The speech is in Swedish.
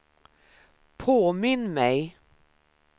påminn mig